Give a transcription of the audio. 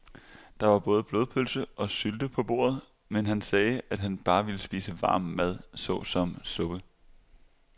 Der var både blodpølse og sylte på bordet, men han sagde, at han bare ville spise varm mad såsom suppe.